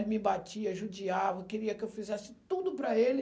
Ele me batia, judiava, queria que eu fizesse tudo para ele.